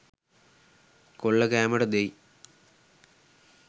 කොල්ල කෑමට දෙයි.